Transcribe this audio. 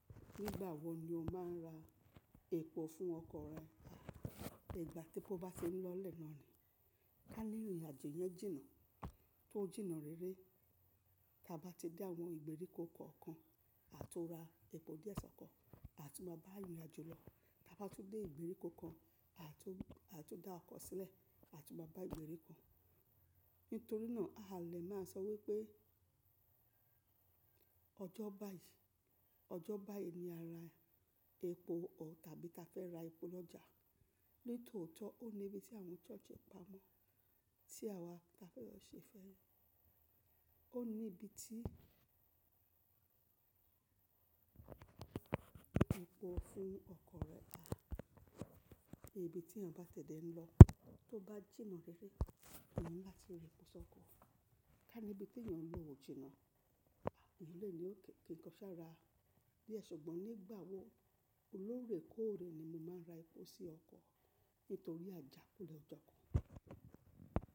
Nígbà wo ni o máa ń ra epo fún ọkọ̀ rẹ? Ìgbà te epó bá ti ń lọ lẹ́ naa ni. Ká ní ìrìnàjò yẹn jìnnà, tó jìnnà réré. Taa bá ti dé àwọn ìgbèríko kọ̀ọ̀kan, a to ra epo díẹ̀ sọ́kọ. A tú máa bá ìrìnàjò lọ. Taa bá tún dé ìgbèríko kan, a tun, a tun dá ọkọ̀ sílẹ̀, a tún máa bá ìgbèríko. Ítorí náà, a lè máa sọ wípé ọjọ́ báyìí, ojo bayii ni a ra epo or tàbí ta fẹ́ ra epo lọ́jà. Nítoọ̀tọ̀ ọ níbi tí àwọn church pamọ́ tí àwa ta fẹ́ lọ ṣe fẹ́ ẹ. Ó ní ibi tí epo fún ọkọ̀ rẹ dá. Ibi tí èèyàn bá tẹ̀ dé ń lọ, tó bá jìnnà réré, èèyàn ni lati ra epo sọ́kọ. Ká níbi tí èèyàn ń lọ ò jìnnà, èèyàn lè ní ok, kin kọ́ ṣa ra díẹ̀. Ṣùgbọ́n nígbà wo o lóorèkóòrè ni mo máa ń ra epo sí ọkọ̀ nítorí àjàkúlẹ̀ ọjọ́ kan.